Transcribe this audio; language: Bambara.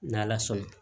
N'ala sɔn na